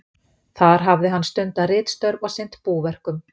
Þar hafði hann stundað ritstörf og sinnt búverkum.